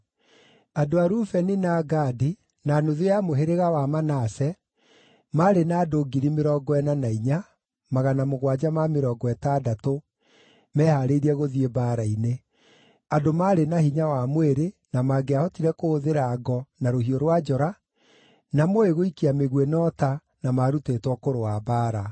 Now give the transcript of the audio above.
Andũ a Rubeni, na a Gadi, na nuthu ya mũhĩrĩga wa Manase, maarĩ na andũ 44,760 mehaarĩirie gũthiĩ mbaara-inĩ: andũ marĩ na hinya wa mwĩrĩ, na mangĩahotire kũhũthĩra ngo, na rũhiũ rwa njora, na mooĩ gũikia mĩguĩ na ũta, na maarutĩtwo kũrũa mbaara.